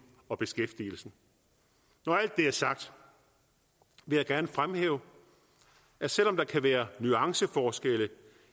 og beskæftigelsen når alt det er sagt vil jeg gerne fremhæve at selv om der kan være nuanceforskelle